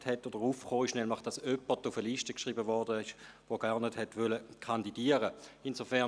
Es wurde nämlich jemand auf eine Liste geschrieben, der gar nicht kandidieren wollte.